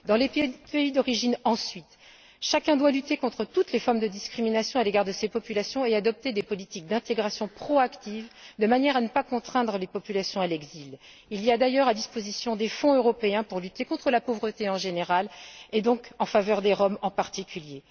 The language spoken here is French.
Dans les pays d'origine, ensuite, chacun doit lutter contre toutes les formes de discrimination à l'égard de ces populations et adopter des politiques d'intégration proactives, de manière à ne pas contraindre les populations à l'exil. Des fonds européens sont d'ailleurs à disposition pour lutter contre la pauvreté, en général, et donc, en faveur des Roms, en particulier.